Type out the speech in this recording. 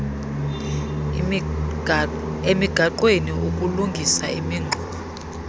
emigaqweni ukulungisa imingxunya